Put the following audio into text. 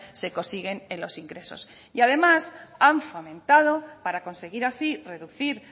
se consiguen en los ingresos y además han fomentado para conseguir así reducir